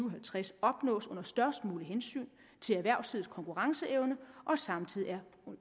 og halvtreds opnås under størst mulig hensyntagen til erhvervslivets konkurrenceevne og samtidig er